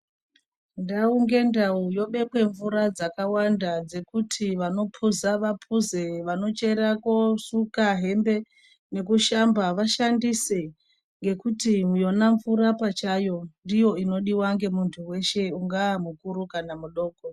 Ndau ngendau yobekwe mvura dzakawanda dzekuti vanopuza vapuze, vanochera kosuka hembe nekushamba vashandise. Ngekuti yona mvura pachayo ndiyo inodiva ngemuntu veshe ungaa mukuru kana mudoko.